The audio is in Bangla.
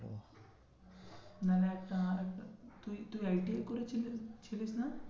না না একটা না তুই, তুই ITI করেছিলি, ছিলিস না?